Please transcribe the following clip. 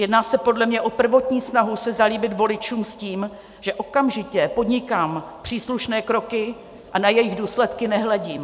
Jedná se podle mě o prvotní snahu se zalíbit voličům s tím, že okamžitě podnikám příslušné kroky a na jejich důsledky nehledím.